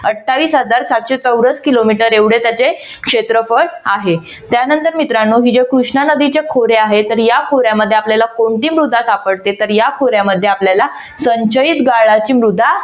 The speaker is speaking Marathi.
अठ्ठावीस हजार सातशे चौरस किलोमीटर एवढे त्याचे क्षेत्रफळ आहे. त्यानंतर मित्रांनो हे जे कृष्ण नदीचे खोरे आहे तर या खोऱ्यामध्ये आपल्याला कोणती मृदा सापडते तर या खोऱ्यामध्ये आपल्याला संचयित गाळाची मृदा